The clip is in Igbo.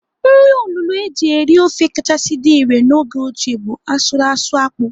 Nri olulo eji eri ofe kachasị dị irè n'oge ochie bụ asụrụ asụ akpụ.